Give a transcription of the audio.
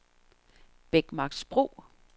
Bækmarksbro